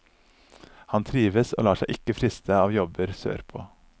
Han trives og lar seg ikke friste av jobber sørpå.